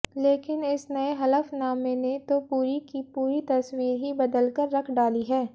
लेकिन इस नए हलफनामे ने तो पूरी की पूरी तस्वीर ही बदलकर रख डाली है